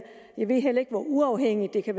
jeg ved heller ikke hvor uafhængigt det kan